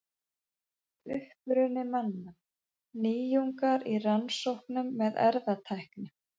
Uppruni manna: Nýjungar í rannsóknum með erfðatækni.